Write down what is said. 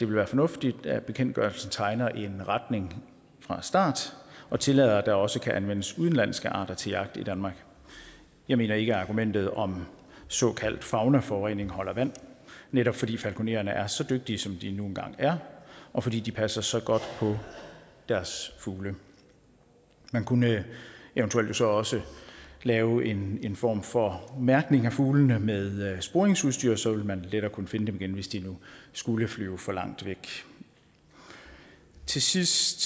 være fornuftigt at bekendtgørelsen tegner en retning fra start og tillader at der også kan anvendes udenlandske arter til jagt i danmark jeg mener ikke at argumentet om såkaldt faunaforurening holder vand netop fordi falkonererne er så dygtige som de nu engang er og fordi de passer så godt på deres fugle man kunne jo eventuelt så også lave en en form for mærkning af fuglene med sporingsudstyr for så ville man lettere kunne finde dem igen hvis de nu skulle flyve for langt væk til sidst